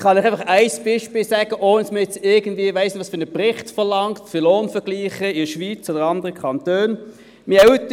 Ich kann Ihnen ein Beispiel nennen, ohne jetzt irgendeinen Bericht für Lohnvergleiche in der Schweiz oder mit anderen Kantonen zu verlangen.